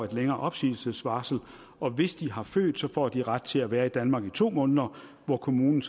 længere opsigelsesvarsel og hvis de har født får de ret til at være i danmark i to måneder hvor kommunen